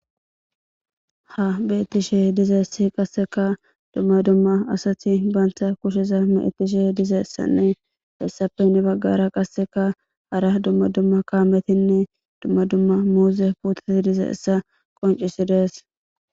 Ha bettishe dizeessi qasseka dumma dumma asati banta kusheza meetishe dize essanne hessafenni baggara qasseka ara dumma dumma kaametinne dumma dumma muuze puutati diza essa qoncisidees